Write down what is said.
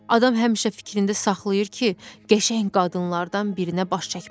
Adam həmişə fikrində saxlayır ki, qəşəng qadınlardan birinə baş çəkmək olar.